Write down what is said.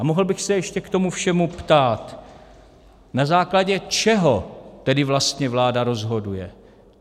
A mohl bych se ještě k tomu všemu ptát: Na základě čeho tedy vlastně vláda rozhoduje?